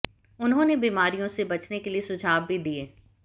उन्होंने बीमारियों से बचने के लिए सुझाव भी दिए